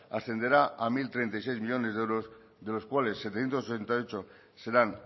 ascenderá a mil treinta y seis millónes de euros de los cuales setecientos sesenta y ocho serán